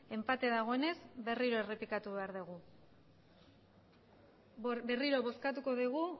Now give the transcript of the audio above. enpate dagoenez berriro errepikatu behar dugu berriro bozkatuko dugu